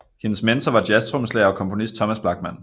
Hendes mentor var jazztrommeslager og komponist Thomas Blachman